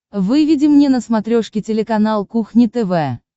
выведи мне на смотрешке телеканал кухня тв